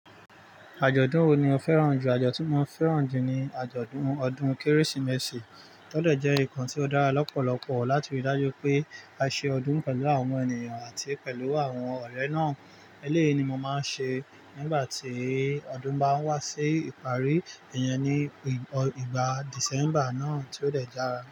Àjọ̀dún wo ni o fẹ́ràn jù? Àjọ̀dún ti mo fẹ́ràn jù ni àjọ̀dún ọdún Kérésìmesì tọ dẹ̀ jẹ́ nǹkan ti o dára lọ́pọ̀lọpọ̀ láti rí dájú pé a ṣe ọdún pẹ̀lú àwọn ènìyàn àti pẹ̀lú àwọn ọ̀rẹ́ náà. Eléyìí ni mo máa ń ṣe nígbà tí ọdún bá ń wá sí ìparí, ìyẹn ní ìgbà December náà tó dẹ̀ dára.